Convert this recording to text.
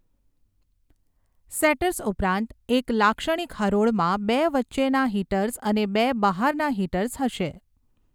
Setters ઉપરાંત, એક લાક્ષણિક હરોળમાં બે વચ્ચેના હિટર્સ અને બે બહારના હિટર્સ હશે.